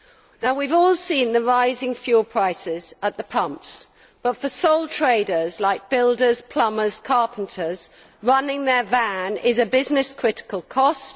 Now, we have all seen the rising fuel prices at the pumps, but for sole traders like builders, plumbers and carpenters, running their van is a business critical cost.